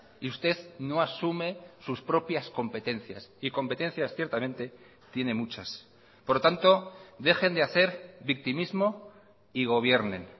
y usted no asume sus propias competencias y competencias ciertamente tiene muchas por lo tanto dejen de hacer victimismo y gobiernen